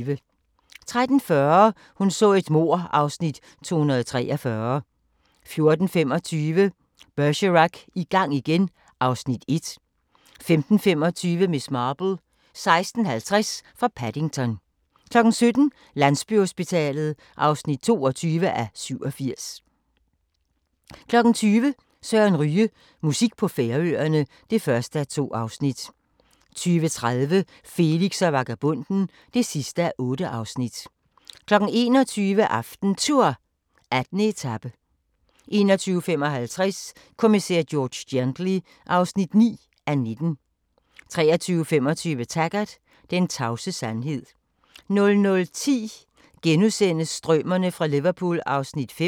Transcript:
13:40: Hun så et mord (Afs. 243) 14:25: Bergerac: I gang igen (Afs. 1) 15:25: Miss Marple: 16:50 fra Paddington 17:00: Landsbyhospitalet (22:87) 20:00: Søren Ryge: Musik på Færøerne (1:2) 20:30: Felix og vagabonden (8:8) 21:00: AftenTour: 18 etape 21:55: Kommissær George Gently (9:19) 23:25: Taggart: Den tavse sandhed 00:10: Strømerne fra Liverpool (Afs. 5)*